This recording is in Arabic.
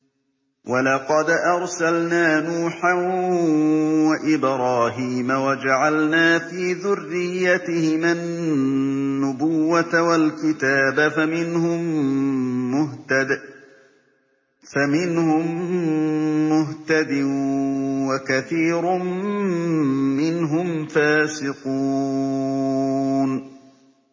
وَلَقَدْ أَرْسَلْنَا نُوحًا وَإِبْرَاهِيمَ وَجَعَلْنَا فِي ذُرِّيَّتِهِمَا النُّبُوَّةَ وَالْكِتَابَ ۖ فَمِنْهُم مُّهْتَدٍ ۖ وَكَثِيرٌ مِّنْهُمْ فَاسِقُونَ